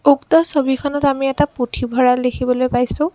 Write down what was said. উক্ত ছবিখনত আমি এটা পুথভঁৰাল দেখিবলৈ পাইছোঁ।